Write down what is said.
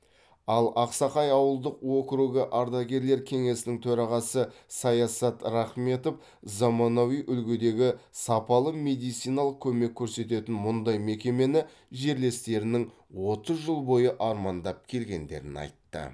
ал ақсақай ауылдық округі ардагерлер кеңесінің төрағасы саясат рахметов заманауи үлгідегі сапалы медициналық көмек көрсететін мұндай мекемені жерлестерінің отыз жыл бойы армандап келгендерін айтты